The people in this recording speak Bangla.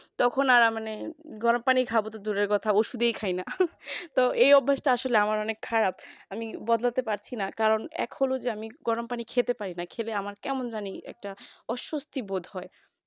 তখন আর মানে গরম পানি খাব তো দূরের কথা ওষুধই খাই না তো এই অভ্যাসটা আমার আসলে অনেক খারাপ আমি বদলাতে পারছি না কারণ এখনো যে গরম পানি খেতে পারি না খেলে আমার কেমন জানি একটা অস্বস্তি বোধ হয়